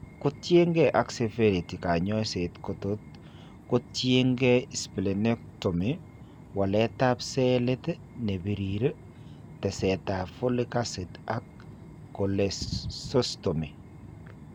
Kotiengee ak severity kanyoiset kotot kotiengee splenectomy, waletab cellit nebirir, teseetab folic acid ak cholesystomy